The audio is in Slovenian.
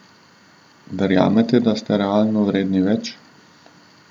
Verjamete, da ste realno vredni več?